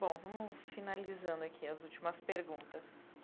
Bom, vamos finalizando aqui as últimas perguntas.